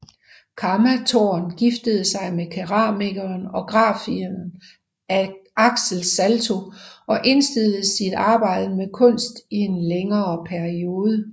Kamma Thorn giftede sig med keramikeren og grafikeren Axel Salto og indstillede sit arbejde med kunst i en længere periode